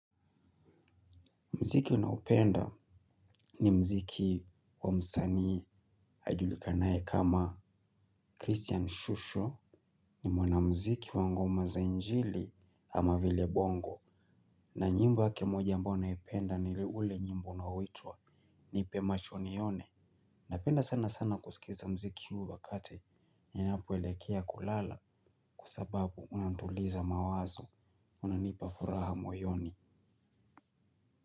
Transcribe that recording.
Muziki naupenda ni muziki wa msanii ajulikanaye kama Christian Shusho ni mwanamuziki wa ngoma za injili ama vile bongo. Na nyimbo yake moja ambayo naipenda ni ule nyimbo unaoitwa nipe macho nione. Napenda sana sana kusikiza muziki huu wakati ninapoelekea kulala kwa sababu unanituliza mawazo unanipa furaha moyoni.